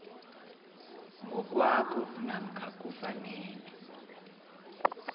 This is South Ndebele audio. ngokwakho namkha kufanele